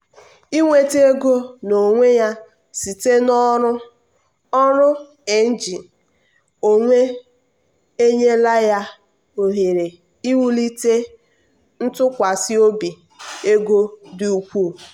inweta ego n'onwe ya site na ọrụ ọrụ ng onwe enyela ya ohere iwulite ntụkwasị obi ego dị ukwuu.